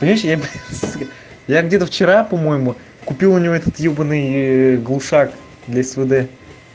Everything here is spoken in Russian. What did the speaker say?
понимаешь я б сука я где-то вчера по-моему купил у него этот ёбанный глушак для свд